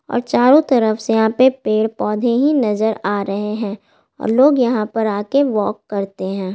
और चारो तरफ से यहाँ पर पेड़ पौधे ही नज़र आ रहे हैं और लोग यहाँ पर आके वॉक करते हैं।